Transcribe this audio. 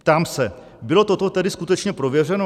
Ptám se: Bylo toto tedy skutečně prověřeno?